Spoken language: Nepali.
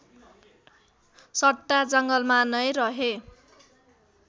सट्टा जङ्गलमा नै रहे